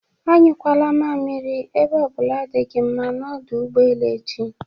A nyụkwala mamiri ebe o bụla dị gi mma na ọdụ ụgbọelu echi.